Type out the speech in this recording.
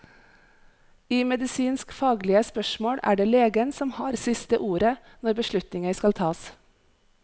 I medisinsk faglige spørsmål er det legen som har siste ordet når beslutninger skal tas.